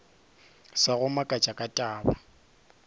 sa go makatša ka taba